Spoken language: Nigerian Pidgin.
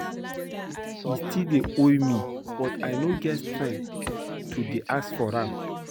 He still dey owe me but I no get strength to dey ask for am